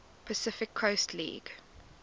pacific coast league